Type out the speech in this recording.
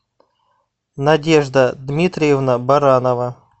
надежда дмитриевна баранова